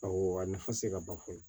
Awɔ a nafa tɛ se ka ban fɔ ye